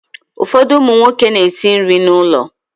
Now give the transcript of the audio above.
Ụfọdụ ụmụ nwoke na-esi nri n'ụlọ.